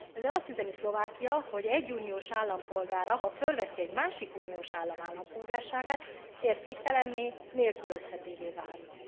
Ezzel azt üzeni Szlovákia, hogy egy uniós állampolgára, ha felveszi egy másik uniós állam állampolgárságát értéktelenné, nélkülözhetővé válik.